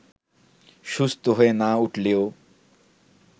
সুস্থ হয়ে না উঠলেও